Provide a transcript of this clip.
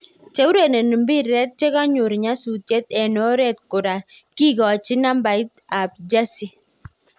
Cheurereni piret chekogor nyastaiet eng oret kora kikachin nabait ap jersey.